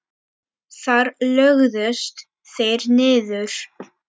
Þar lögðust þeir niður.